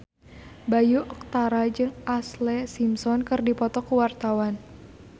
Bayu Octara jeung Ashlee Simpson keur dipoto ku wartawan